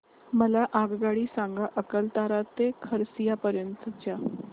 मला आगगाडी सांगा अकलतरा ते खरसिया पर्यंत च्या